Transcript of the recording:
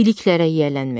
Biliklərə yiyələnmək.